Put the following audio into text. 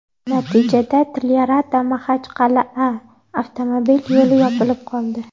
Natijada TlyarataMaxachqal’a avtomobil yo‘li yopilib qoldi.